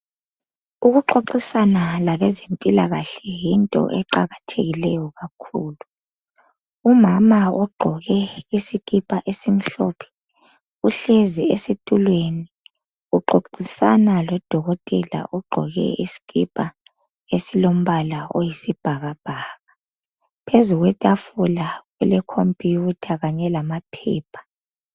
Ukuxoxisana labezempilakahle yinto eqakathekileyo kakhulu, umama ugqoke isikipa esimhlophe uhlezi esitulweni uxoxisana lodokotela ogqoke isikipa esiyi sibhakabhaka, phezu kwetafula kule khompuyutha kanye lamaphepha.